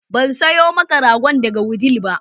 Ban sayo maka ragon daga Wudil ba